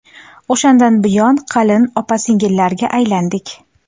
O‘shandan buyon qalin opa-singillarga aylandik.